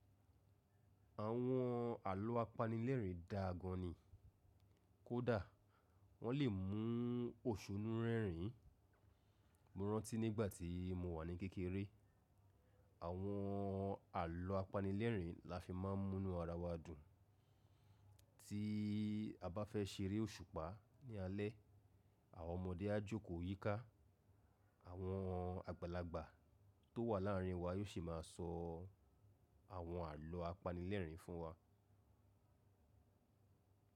Àwọn àlọ́ apanilẹ́ẹ̀rín dáa gan ni, kódà wọ́n lè mú òsùnú rẹ́rìn. Mo rántí nígbà tí mo wà ní kékeré, àwọn àlọ́ apanilẹ́ẹ̀rín la fi má ń mú inú ara wa dùn. Tí a bá fẹ́ ṣeré òṣùpá ní alẹ́, àwọn ọmọdé á jókòó yíká, àwọn àgbàlagbà tó wà láàrín wa yóò si máa sọ àwọn àlọ́ apanilẹ́ẹ̀rín fún wa.